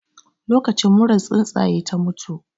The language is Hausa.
Lokacin muran tsuntsaye ta mutu